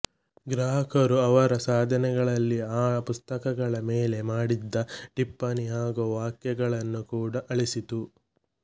ಗ್ರಾಹಕರು ಅವರ ಸಾಧನಗಳಲ್ಲಿ ಆ ಪುಸ್ತಕಗಳ ಮೇಲೆ ಮಾಡಿದ್ದ ಟಿಪ್ಪಣಿ ಹಾಗು ವ್ಯಾಖ್ಯಾನಗಳನ್ನು ಕೂಡ ಆಳಿಸಿತು